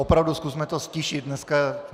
Opravdu zkusme to ztišit dneska.